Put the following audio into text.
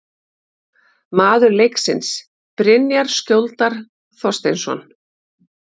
Maður leiksins: Brynjar Skjóldal Þorsteinsson